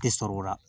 Tɛ sɔrɔ o la